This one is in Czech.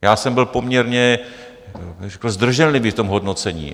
Já jsem byl poměrně zdrženlivý v tom hodnocení.